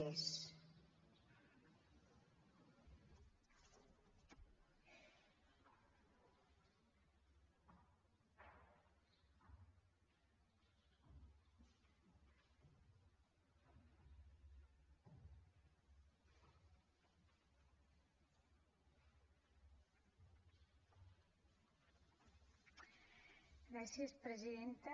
gràcies presidenta